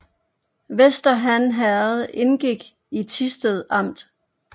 Vester Han Herred indgik i Thisted Amt